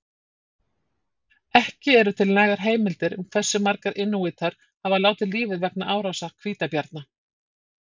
Ekki eru til nægar heimildir um hversu margir inúítar hafa látið lífið vegna árása hvítabjarna.